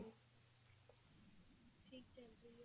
ਠੀਕ ਏ ਜੀ